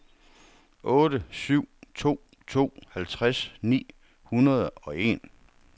otte syv to to halvtreds ni hundrede og en